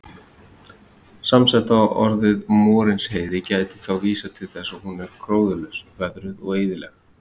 Samsetta orðið Morinsheiði gæti þá vísað til þess að hún er gróðurlaus, veðruð og eyðileg.